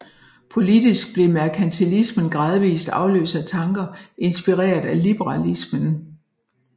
Politisk blev merkantilismen gradvist afløst af tanker inspireret af liberalismen